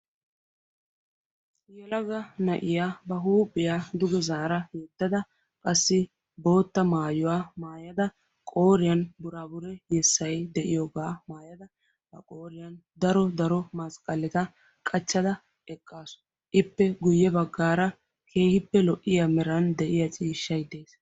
Yelaga na'iya ba huphiya duge zaara yedada qassi boota maayuwaa maayada qooriyan buraabure yessay de'iyoogaa maayada daro daro masqqaletta qachchada eqqaassu. ippe Guye bagara keehippe lo''iya meran de'iyaa ciishshay de'ees.